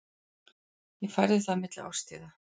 Ég færði það milli árstíða.